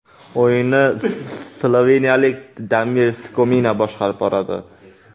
O‘yinni sloveniyalik Damir Skomina boshqarib boradi.